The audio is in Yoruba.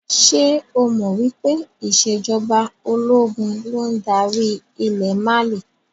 Ṣé o mọ wípé ìsèjọba ológun ló ń darí ilẹ̀ Mali?